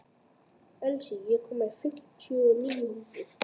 Elsí, ég kom með fimmtíu og níu húfur!